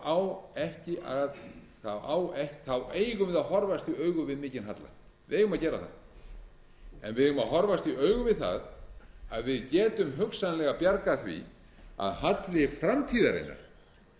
eigum við að horfast í augu við mikinn halla við eigum að gera það en við eigum að horfast í augu við það að við getum hugsanlega bjargað því að halli framtíðarinnar